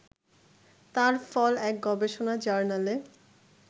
তার ফল এক গবেষণা জার্নালে